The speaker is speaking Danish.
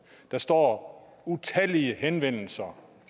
der står utallige henvendelser